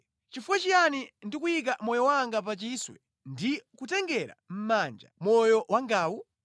Chifukwa chiyani ndikuyika moyo wanga pa chiswe ndi kutengera mʼmanja moyo wangawu?